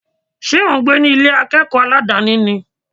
Ṣé ò ń gbé ní Ilé akẹ́kọ̀ọ́ aládàni ni?